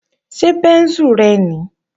Ṣé bẹ́ńsù rẹ nìí?